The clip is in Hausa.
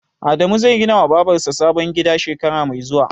Adamu zai ginawa Babar sa sabon gida shekara mai zuwa.